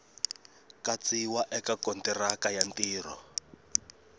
katsiwa eka kontiraka ya ntirho